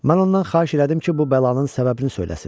Mən ondan xahiş elədim ki, bu bəlanın səbəbini söyləsin.